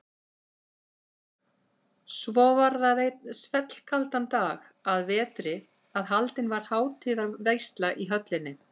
Svo var það einn svellkaldan dag að vetri að haldin var hátíðarveisla í höllinni.